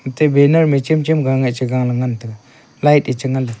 athe banner cham cham ga ngai cha ngan taga light lecha nga.